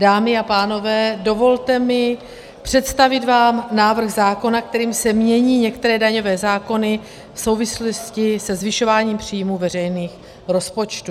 Dámy a pánové, dovolte mi představit vám návrh zákona, kterým se mění některé daňové zákony v souvislosti se zvyšováním příjmů veřejných rozpočtů.